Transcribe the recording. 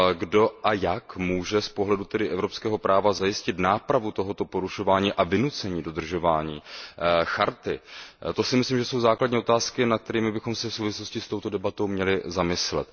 Kdo a jak může z pohledu evropského práva zajistit nápravu tohoto porušování a vynucení dodržování Listiny? To si myslím, že jsou základní otázky, nad kterými bychom se v souvislosti s touto debatou měli zamyslet.